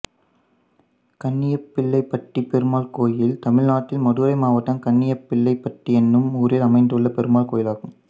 கண்ணியப்பபிள்ளைபட்டி பெருமாள் கோயில் தமிழ்நாட்டில் மதுரை மாவட்டம் கண்ணியப்பபிள்ளைபட்டி என்னும் ஊரில் அமைந்துள்ள பெருமாள் கோயிலாகும்